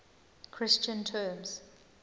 christian terms